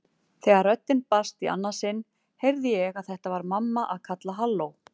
Þegar röddin barst í annað sinn heyrði ég að þetta var mamma að kalla halló.